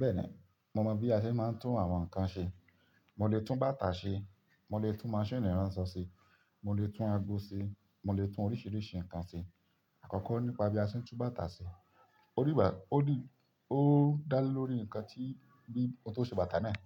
Bẹ́ẹ̀ni, mo mọ̀ bí a ṣe máa ń tún àwọn nǹkan ṣe. Mo lè tún bàtà ṣe, mo lè tún maṣíìnì ránṣọ ṣe, mo lè tún ago ṣe, mo lè tún oríṣìíríṣìí nǹkan ṣe. Àkọ́kọ́ nípa bí a ṣe ń tún bàtà ṣe. Ó dígbà-- ó dí-- ó dá lé lórí nǹkan tí, bí ohun tó ṣe bàtà náà.